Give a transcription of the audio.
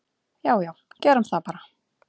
"""Já já, gerum það bara."""